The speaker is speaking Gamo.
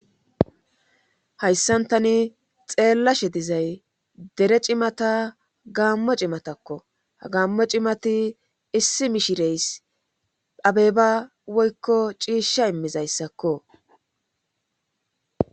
Hayssan taani xeelashe diza dere cimata gaamo cimatakko. Ha gaamo cimati issi mishirees. abeba woykko ciisha imizayssakko.